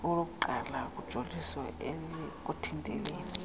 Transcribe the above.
okokuqala lujolise ekuthinteleni